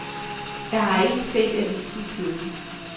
Jeg har ikke set avisen siden.